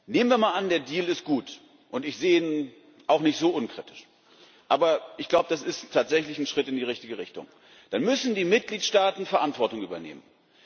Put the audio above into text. Nehmen wir mal an, der Deal ist gut und ich sehe ihn auch nicht so unkritisch, aber ich glaube, das ist tatsächlich ein Schritt in die richtige Richtung dann müssen die Mitgliedstaaten Verantwortung übernehmen.